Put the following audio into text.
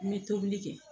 N bɛ tobili kɛ